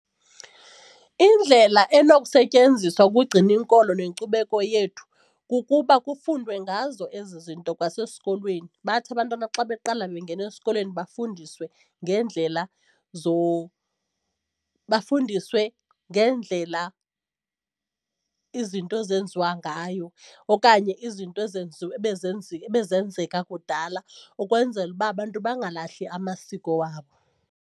Indlela enokusetyenziswa ukugcina inkolo nenkcubeko yethu kukuba kufundwe ngazo ezi zinto kwasesikolweni bathi abantwana xa beqala bengena esikolweni bafundiswe ngeendlela bafundiswe ngeendlela izinto ezenziwa ngayo okanye izinto ebezenzeka kudala ukwenzela uba abantu bangalahli amasiko wabo.